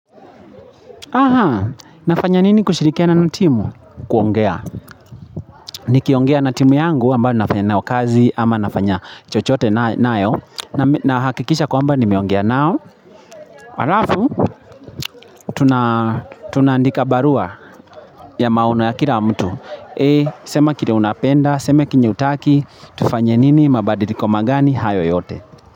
Aha, nafanya nini kushirikiana natimu? Kuongea. Ni kiongea natimu yangu ambayo nafanya nao kazi ama nafanya chochote nayo. Na hakikisha kwamba nimeongea nao. Harafu, tunaandika barua ya maono ya kila wa mtu. A, sema kile unapenda, sema kenyehutaki, tufanya nini, mabadiliko magani, hayo yote.